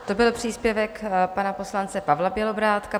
To byl příspěvek pana poslance Pavla Bělobrádka.